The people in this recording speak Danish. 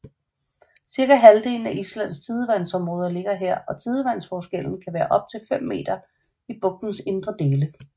Cirka halvdelen af Islands tidevandområder ligger her og tidevandsforskellen kan være op til 5 meter i bugtens indre dele